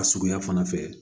A suguya fana fɛ